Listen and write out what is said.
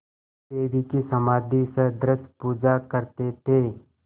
देवी की समाधिसदृश पूजा करते थे